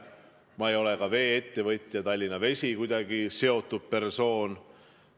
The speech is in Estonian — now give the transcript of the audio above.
Ma ei ole ka vee-ettevõtjaga Tallinna Vesi kuidagi seotud persoon.